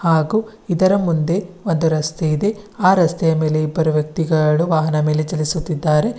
ಹಾಗು ಇದರ ಮುಂದೆ ಒಂದು ರಸ್ತೆ ಇದೆ ಆ ರಸ್ತೆಯ ಮೇಲೆ ಇಬ್ಬರು ವ್ಯಕ್ತಿಗಳು ವಾಹನದ ಮೇಲೆ ಚಲಿಸುತ್ತಿದ್ದಾರೆ.